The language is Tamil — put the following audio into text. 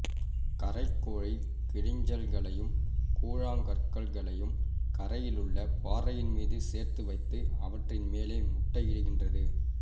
கரைக் கோழி கிளிஞ்சல்களையும் கூழாங்கற்களையும் கரையிலுள்ள பாறைமீது சேர்த்து வைத்து அவற்றின் மேலே முட்டையிடுகின்றது